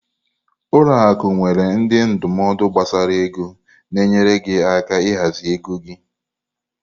Ụlọ akụ nwere ndị ndụmọdụ gbasara ego na-enyere gị aka ịhazi ego gị.